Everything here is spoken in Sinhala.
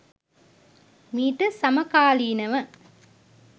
මීට සමකාලීනව